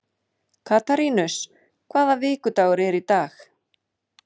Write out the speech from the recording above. Katarínus, hvaða vikudagur er í dag?